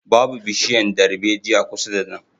Babu bishiyan darbejiya kusa da nan